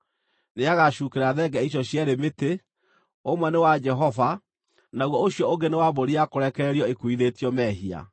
Nĩagacuukĩra thenge icio cierĩ mĩtĩ, ũmwe nĩ wa Jehova, naguo ũcio ũngĩ nĩ wa mbũri ya kũrekererio ĩkuuithĩtio mehia.